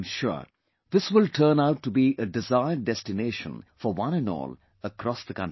I am sure this will turn out to be a described destination for one & all across the country